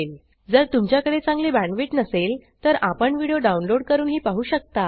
जर तुमच्याकडे चांगली बॅण्डविड्थ नसेल तर आपण व्हिडिओ डाउनलोड करूनही पाहू शकता